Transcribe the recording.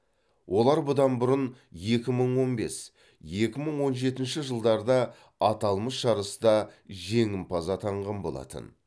олар бұдан бұрын екі мың он бес екі мың он жетінші жылдарда аталмыш жарыста жеңімпаз атанған болатын